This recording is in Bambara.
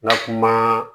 Lakana